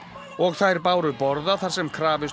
og þær báru borða þar sem krafist